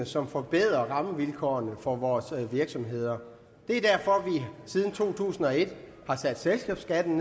som forbedrer rammevilkårene for vores virksomheder det er derfor at vi siden to tusind og et har sat selskabsskatten